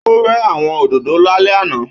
Ó rẹ́ àwọn òdòdó lálẹ́ àná.